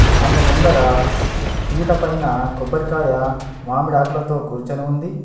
ఆమె ముందర పీటపైన కొబ్బరికాయ మామిడి ఆకులతో కూర్చొని ఉంది.